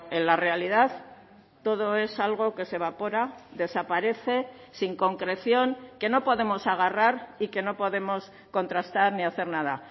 en la realidad todo es algo que se evapora desaparece sin concreción que no podemos agarrar y que no podemos contrastar ni hacer nada